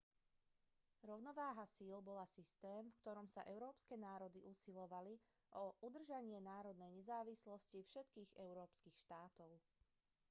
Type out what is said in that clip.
rovnováha síl bola systém v ktorom sa európske národy usilovali o udržanie národnej nezávislosti všetkých európskych štátov